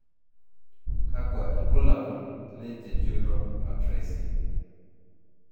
Kakwa ibulabul le jejunal atresia?